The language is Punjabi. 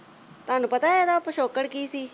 ਤੁਹਾਨੂੰ ਪਤਾ ਇਹਦਾ ਪਿਛੋਕੜ ਕੀ ਸੀ।